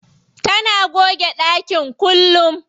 Tana goge ɗakin kullum.